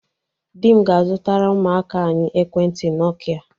Di m ga-azụtara ụmụaka anyị Ekwentị nọkịa